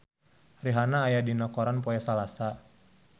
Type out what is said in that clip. Rihanna aya dina koran poe Salasa